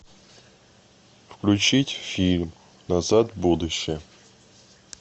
включить фильм назад в будущее